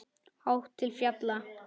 Hátt til fjalla?